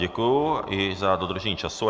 Děkuji i za dodržení času.